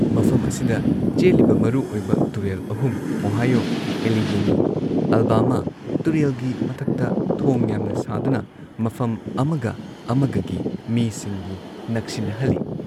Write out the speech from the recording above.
ꯃꯐꯝ ꯑꯁꯤꯗ ꯆꯦꯜꯂꯤꯕ ꯃꯔꯨ ꯑꯣꯏꯕ ꯇꯨꯔꯦꯜ ꯑꯍꯨꯝ ꯑꯣꯍꯥꯏꯑꯣ, ꯑꯦꯂꯤꯒꯦꯅꯤ, ꯑꯥꯜꯕꯥꯃꯥ ꯇꯨꯔꯦꯜꯒꯤ ꯃꯊꯛꯇ ꯊꯣꯡ ꯌꯥꯝꯅ ꯁꯥꯗꯨꯅ ꯃꯐꯝ ꯑꯃꯒ ꯑꯃꯒꯒꯤ ꯃꯤꯁꯤꯡꯕꯨ ꯅꯛꯁꯤꯟꯅꯍꯜꯂꯤ ꯫